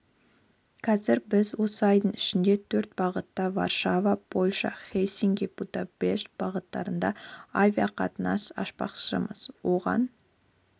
қазір біз осы айдың ішінде төрт бағытта варшава польша хельсинки будапешт бағытында авиақатынас ашпақпыз оған